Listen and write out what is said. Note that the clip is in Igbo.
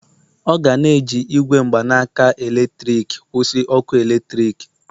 ọ ga na-eji igwe mgbanaka eletrik kwụsị ọkụ eletrik